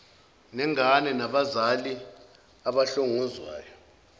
nengane nabazali abahlongozwayo